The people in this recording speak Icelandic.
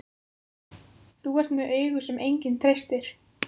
Þú ert með augu sem enginn treystir.